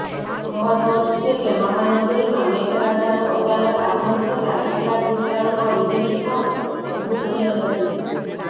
મહત્વનું છે કે મહાનગરીમાં મેઘરાજાનું અચાનક આગમન થતા કેટલાક વિસ્તારોમાં વિજળી પણ ગુલ થઈ હતી